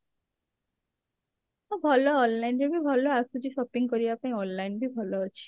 ହଁ ଭଲ online ରେ ବି ଭଲ ଆସୁଛି shopping କରିବା online ବି ଭଲ ଅଛି